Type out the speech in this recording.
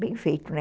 Bem feito, né?